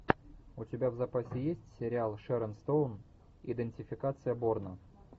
у тебя в запасе есть сериал шерон стоун идентификация борна